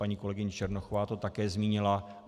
Paní kolegyně Černochová to také zmínila.